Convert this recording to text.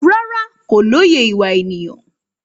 Rárá, kò lóye ìwà ènìyàn